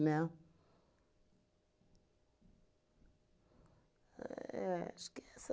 Né? Éh acho que é essa